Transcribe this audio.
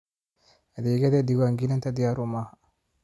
Adeegyada diiwaangelinta diyaar uma aha.